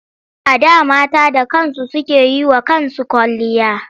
A da mata da kansu suke yi wa kansu kwalliya.